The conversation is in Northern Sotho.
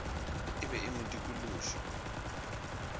e be e mo dikološa